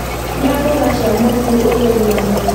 Rĩa mboga cia mũruru ũgĩe ũgima mwega